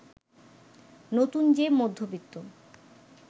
নতুন যে মধ্যবিত্ত